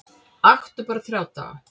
Aktu bara þrjá daga